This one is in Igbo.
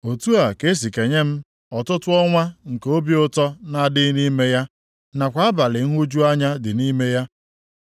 otu a ka e si kenye m ọtụtụ ọnwa nke obi ụtọ na-adịghị nʼime ya, nakwa abalị nhụju anya dị nʼime ya.